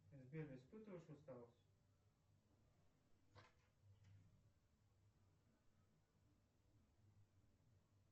сбер испытываешь усталость